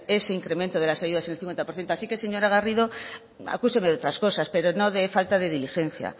ese incremento de las ayudas del cincuenta por ciento así que señora garrido acúseme de otras cosas pero no de falta de diligencia